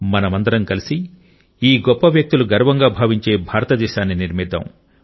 మనమందరం కలిసి ఈ గొప్ప వ్యక్తులు గర్వంగా భావించే భారతదేశాన్ని నిర్మిద్దాం